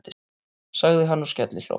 sagði hann og skellihló.